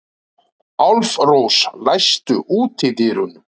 Álfrós, læstu útidyrunum.